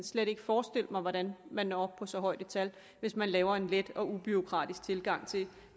slet ikke forestille mig hvordan man når op på så højt et tal hvis man laver en let og ubureaukratisk tilgang til